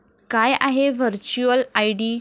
काय आहे virtual ID?